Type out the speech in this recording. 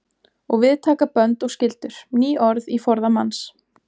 Og við taka bönd og skyldur. ný orð í forða manns.